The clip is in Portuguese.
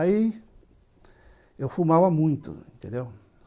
Aí, eu fumava muito, entendeu?